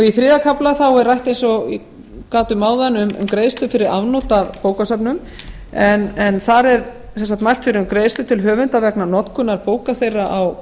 í þriðja kafla er rætt eins og ég gat um áðan um greiðslu fyrir afnot af bókasöfnum en þar er mælt fyrir um greiðslu til höfunda vegna notkunar bóka þeirra á